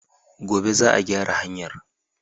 Gobe za a gyara hanyar